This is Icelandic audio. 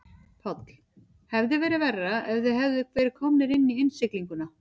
Páll: Hefði verið verra ef þið hefðuð verið komnir í innsiglinguna?